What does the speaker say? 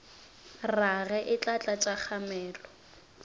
rage e tla tlatša kgamelo